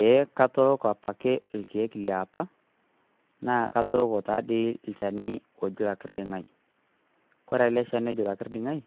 Eehh katooko apake irkiek liapa katooko taadoi olchani oji olokirding'ai kore ele shani oji olokirding'ai